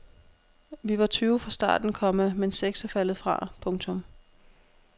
Vi var tyve fra starten, komma men seks er faldet fra. punktum